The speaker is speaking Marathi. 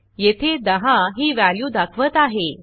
येथे 10 ही व्हॅल्यू दाखवत आहे